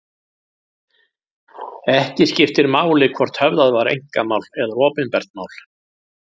Ekki skiptir máli hvort höfðað var einkamál eða opinbert mál.